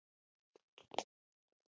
Hvíl í friði, Jón Ólafur.